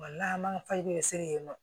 Wala an man faji bɛ se yen nɔ